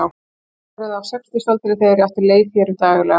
Það hefur verið á sextugsaldri þegar ég átti leið hér um daglega.